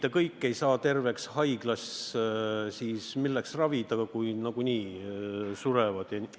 Kui kõik haiglas terveks ei saa, siis milleks ravida – nagunii surevad ära?